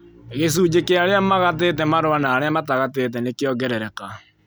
Gĩcunjĩ kĩa arĩa magatĩte marũa na arĩa matagatĩte nĩkĩongerereka